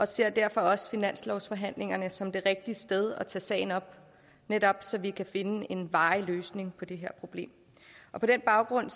ser derfor også finanslovsforhandlingerne som det rigtige sted at tage sagen op netop så vi kan finde en varig løsning på det her problem på den baggrund